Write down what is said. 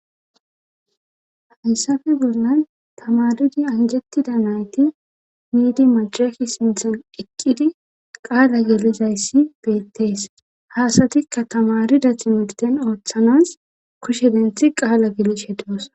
hayssafe bollan tamarudi anjettida nayti miidi macafhi sinthan eqqidi qaala gelizayssi beettees haasatikka tamarida timigden ooththanas kushe denthi qaala gele shedos